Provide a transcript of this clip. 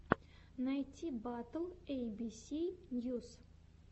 найти батл эй би си ньюс